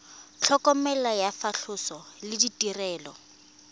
tlhokomelo ya phatlhoso le ditirelo